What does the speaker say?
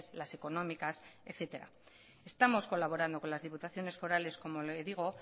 las económicas etcétera estamos colaborando con las diputaciones forales como le digo